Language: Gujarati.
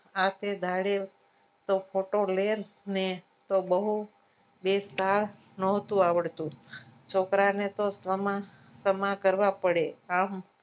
આ તે દાડે photo લેન તો બહુ વેચતા નોતું આવડતું છોકરાને તોમાં તોમા કરવા પડે આમ